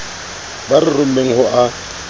ba re rommeng ho a